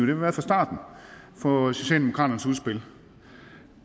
vi været fra starten for socialdemokraternes udspil